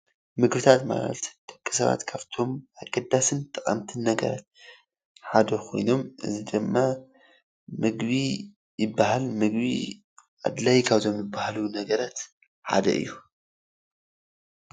ምግብታት ማለት ደቂ ሰባት ካብቶም ኣገዳሲን ጠቀምቲ ነገራት ሓደ ኮይኖም እዚ ድማ ምግቢ ይበሃል ።ምግቢ ኣድላይ ካብቶም ዝበሃሉ ነገራት ሓደ እዩ።